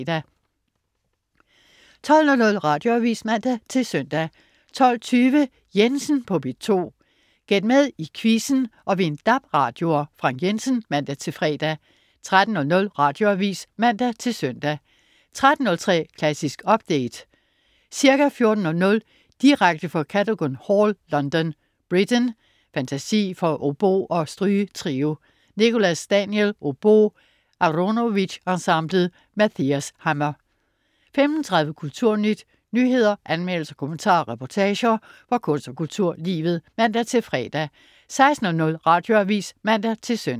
12.00 Radioavis (man-søn) 12.20 Jensen på P2. Gæt med i quizzen og vind DAB-radioer. Frank Jensen (man-fre) 13.00 Radioavis (man-søn) 13.03 Klassisk update. Ca. 14.00 direkte fra Cadogan Hall, London. Britten: Fantasi for obo og strygetrio. Nicholas Daniel, obo. Aronowitz Ensemblet. Mathias Hammer 15.30 Kulturnyt. Nyheder, anmeldelser, kommentarer og reportager fra kunst- og kulturlivet (man-fre) 16.00 Radioavis (man-søn)